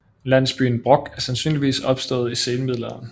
Landsbyen Brok er sandsynligvis opstået i senmiddelalderen